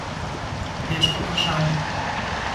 Težko vprašanje.